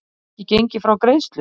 Hefur ekki gengið frá greiðslu